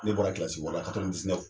Ne bɔra kilasi wɔɔrɔ la